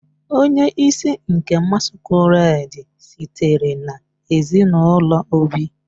Onye isi nke masquerade sitere na ezinụlọ Obi